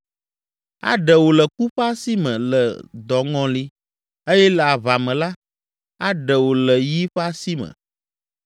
Aɖe wò le ku ƒe asi me le dɔŋɔli eye le aʋa me la, aɖe wò le yi ƒe asi me.